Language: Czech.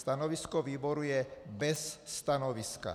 Stanovisko výboru je - bez stanoviska.